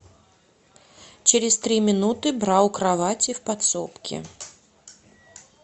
через три минуты бра у кровати в подсобке